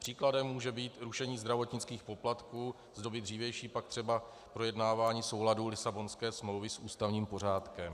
Příkladem může být rušení zdravotnických poplatků, z doby dřívější pak třeba projednávání souladu Lisabonské smlouvy s ústavním pořádkem.